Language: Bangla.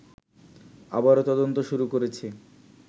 আবারও তদন্ত শুরু করেছি